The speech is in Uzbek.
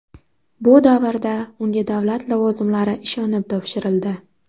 Bu davrda unga davlat lavozimlari ishonib topshirildi.